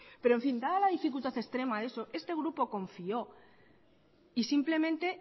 pero en fin dada la dificultar extrema a eso este grupo confió y simplemente